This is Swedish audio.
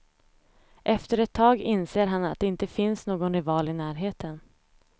Efter ett tag inser han att det inte finns någon rival i närheten.